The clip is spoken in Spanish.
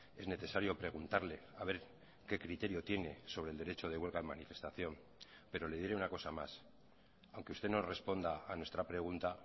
es necesario preguntarle a ver qué criterio tiene sobre el derecho de huelga en manifestación pero le diré una cosa más aunque usted no responda a nuestra pregunta